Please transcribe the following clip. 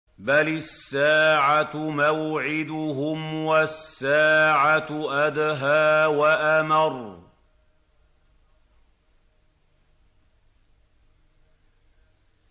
بَلِ السَّاعَةُ مَوْعِدُهُمْ وَالسَّاعَةُ أَدْهَىٰ وَأَمَرُّ